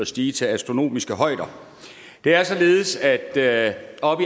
stige til astronomiske højder det er således at at